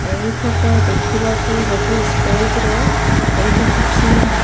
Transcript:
ଏହି ଫଟୋ ଦେଖିବାକୁ ଗୋଟେ ଷ୍ଟେଜ୍ ର ଏଇଠି କିଛି ମ --